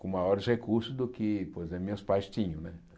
com maiores recursos do que por exemplo meus pais tinham né.